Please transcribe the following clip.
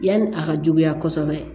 Yanni a ka juguya kosɛbɛ